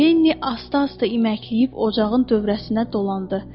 Lenni asta-asta iməkləyib ocağın dövrəsinə dolandı.